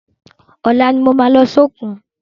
Ọla ni mo ma lọ sókun